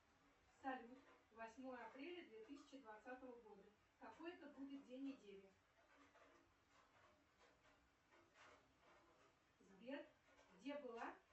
салют восьмое апреля две тысячи двадцатого года какой это будет день недели сбер где была